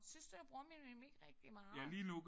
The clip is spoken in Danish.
Synes du jeg bruger min mimik rigtig meget?